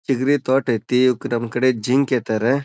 ಚಿಗರೆ ತೋಟ್ ಐತಿ ನಮ್ಮ್ ಕಡೆ ಜಿಂಕೆ ಏತಾರೆ.